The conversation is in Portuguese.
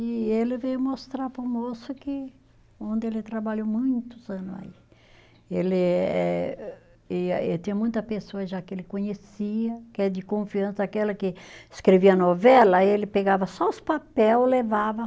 E ele veio mostrar para o moço que, onde ele trabalhou muitos ano aí, ele eh e tinha muita pessoa já que ele conhecia, que é de confiança, aquela que escrevia novela, ele pegava só os papel, levava.